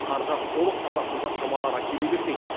қарды толық тазартуға шамалары келе бермейді